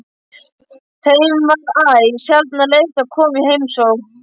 Þeim var æ sjaldnar leyft að koma í heimsókn.